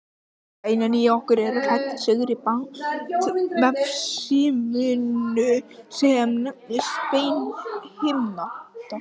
Beinin í okkur eru klædd seigri bandvefshimnu sem nefnist beinhimna.